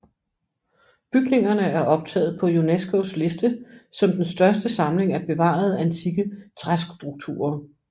Bygningerne er optaget på UNESCOs liste som den største samling af bevarede antikke træstrukturer